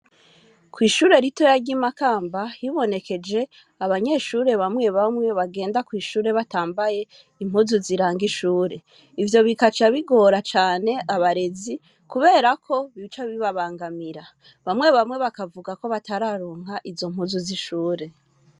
Kw'ishure ritoya ry'i Makamba hibonekeje abanyeshure bamwe bamwe bagenda kw'ishure batambaye impuzu ziranga ishure ivyo, bigaca bigora cane abarezi kubera ko bica bibabangamira, bamwe bamwe bakavuga ko batararonka izo mpuzu z'ishure.